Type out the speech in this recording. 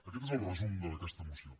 aquest és el resum d’aquesta moció